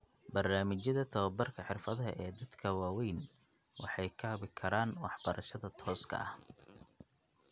Barnaamijyada tababarka xirfadaha ee dadka waaweyn waxay kaabi karaan waxbarashada tooska ah.